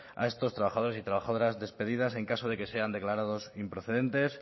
a estos trabajadores y trabajadoras despedidas en caso de que sean declarados improcedentes